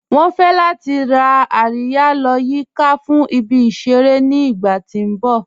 Wọn fẹ̀ lati rá àríyà lọ́ yìká fún ìbí-iṣẹ̀rẹ̀ ní ìgbà ti n bọ̀.